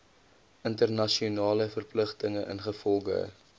internasionale verpligtinge ingevolge